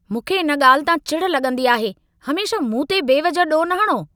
मूंखे इन ॻाल्हि तां चिढ लॻंदी आहे। हमेशह मूंते बेवजह ॾोह न हणो।